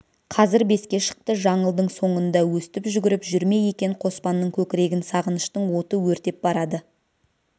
қазір беске шықты жаңылдың соңында өстіп жүгіріп жүр ме екен қоспанның көкірегін сағыныштың оты өртеп барады